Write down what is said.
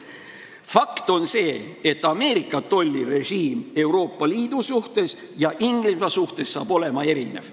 Fakt on see, et Ameerika tollirežiim Euroopa Liidu suhtes ja Inglismaa suhtes saab olema erinev.